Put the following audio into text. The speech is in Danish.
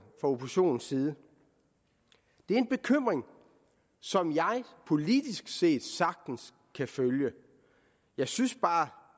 for oppositionens side det er en bekymring som jeg politisk set sagtens kan følge jeg synes bare at